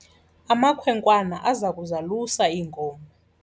Amakhwenkwana aza kuzalusa iinkomo.